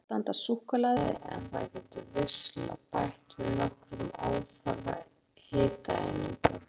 Mörgum reynist erfitt að standast súkkulaði en það getur vissulega bætt við nokkrum óþarfa hitaeiningum.